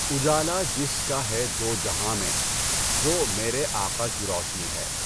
اُجالا جس کا ہے دو جہاں میں و ہ میرے آقا کی روشنی ہے